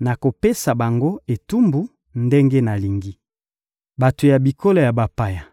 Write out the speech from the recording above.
Nakopesa bango etumbu ndenge nalingi; bato ya bikolo ya bapaya